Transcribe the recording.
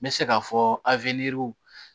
N bɛ se k'a fɔ